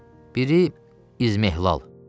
Biri izmihlal.